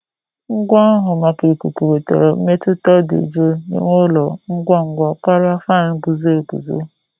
Ngwa na-ahụ maka ikuku wetara mmetụta dị jụụ n'ime ụlọ ngwa ngwa karịa fan na-eguzo